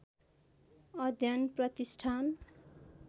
अध्ययन प्रतिष्ठान